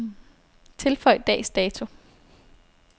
Tilføj dags dato.